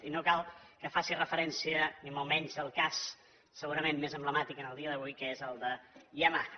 i no cal que faci referència ni molt menys al cas segurament més emblemàtic en el dia d’avui que és el de yamaha